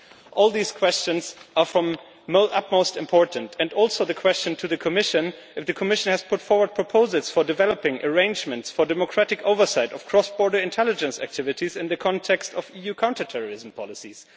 All these questions are of the utmost importance, as well as the question to the Commission as to whether the Commission has put forward proposals for developing arrangements for democratic oversight of cross border intelligence activities in the context of EU counter-terrorism policies.